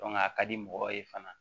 a ka di mɔgɔw ye fana